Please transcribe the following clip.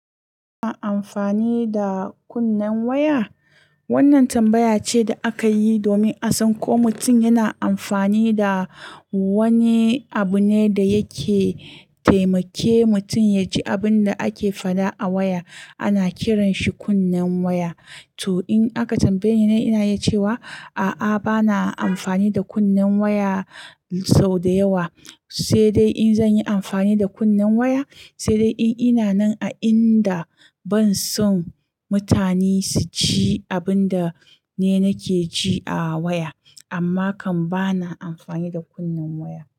A amfani da kunnen waya? Wannan tambaya ce da aka yi domin a san ko mutum yana amfani da wani abu ne da yake taimake mutum ya ji abin da ake faɗa a waya. Ana kiran shi kunnen waya. To in aka tambaye ni, ina yi cewa a'a bana amfani da kunnen waya sau da yawa. Sai dai in zan yi amfani da kunnen waya, sai dai in ina nan a inda ban son mutane su ji abun da ni nake ji a waya. Amma kam bana amfani da kunnen waya.